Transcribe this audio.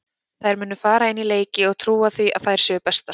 Þær munu fara inn í leiki og trúa því að þær séu bestar.